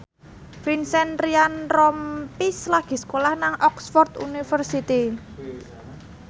Vincent Ryan Rompies lagi sekolah nang Oxford university